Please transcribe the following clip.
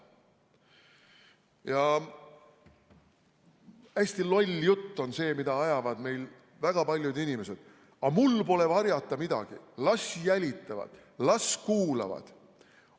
Ja hästi loll jutt on see, mida ajavad meil väga paljud inimesed: aga mul pole varjata midagi, las jälitavad, las kuulavad!